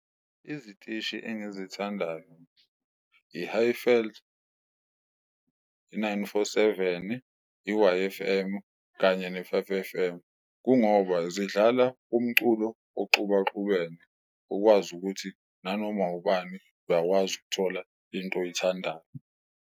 Izitishi engizithandayo, i-Highveld, i-Nine Four Seven-i, i-Y_F_M kanye ne-Five F_M, kungoba zidlala umculo oxubaxubene ukwazi ukuthi nanoma ubani uyakwazi ukuthola into oyithandayo.